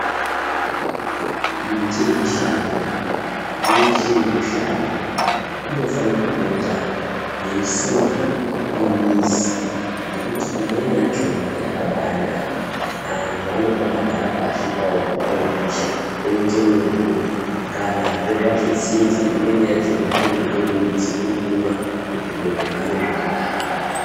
Miti yemishango yeshe inoshanda inofana kupota yeisimwavo mumizi. Ngekuti imweni yachona yakabanaka antu anombagara pashi pavo zuva ropisha oite mumvuri. Kanazve zvazotsinza imweni yachona kuri kutore midzi kuri kumwa kuti zviro zvihambe zvakanaka.